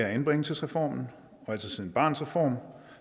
anbringelsesreformen og siden altså barnets reform